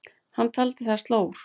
Hann taldi það slór.